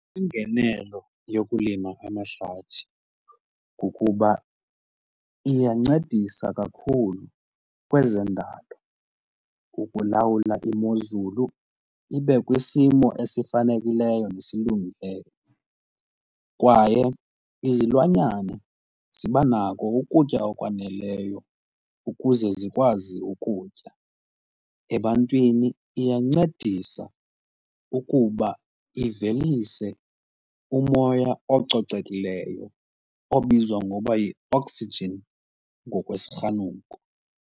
Ingenelo yokulima amahlathi kukuba iyancedisa kakhulu kwezendalo ukulawula imozulu ibe kwisimo esifanekileyo nesilungileyo kwaye izilwanyana ziba nako ukutya okwaneleyo ukuze zikwazi ukutya. Ebantwini iyancedisa ukuba ivelise umoya ococekileyo obizwa ngokuba yi-oxygen ngokwesirhanuko.